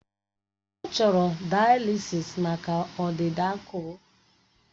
Ọ chọrọ daalisịs maka ọdịda akụrụ